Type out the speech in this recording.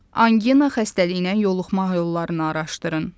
Angina xəstəliyinə yoluxma yollarını araşdırın.